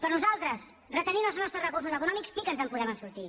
però nosaltres retenint els nostres recursos econòmics sí que ens en podem sortir